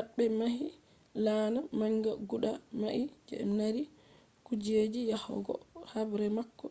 pat be ɓe mahi laana manga guda nai je mari kujeji yahogo habre bako